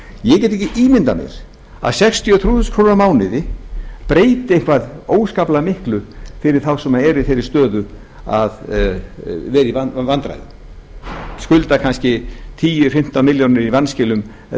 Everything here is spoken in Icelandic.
ég get ekki ímyndað mér að sextíu og þrjú þúskr á mánuði breyti eitthvað óskaplega miklu fyrir þá sem eru í þeirri stöðu að vera í vandræðum skulda kannski tíu til fimmtán milljónir í vanskilum eða